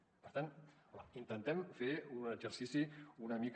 per tant home intentem fer un exercici una mica